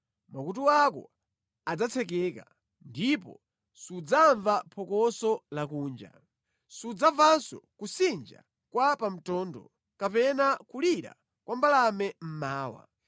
Makutu ako adzatsekeka, ndipo sudzamva phokoso lakunja; sudzamvanso kusinja kwa pa mtondo kapena kulira kwa mbalame mmawa.